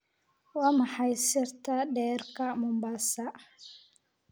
Waa maxay sirta dhererka Mombasa?